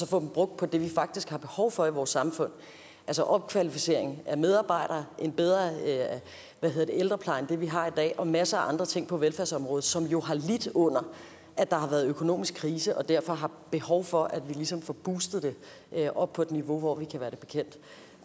få dem brugt på det vi faktisk har behov for i vores samfund altså opkvalificering af medarbejdere en bedre ældrepleje end det vi har i dag og masser af andre ting på velfærdsområdet som jo har lidt under at der har været økonomisk krise og derfor har behov for at vi ligesom får boostet det op på et niveau hvor vi kan være det bekendt